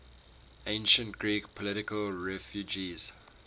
ancient greek political refugees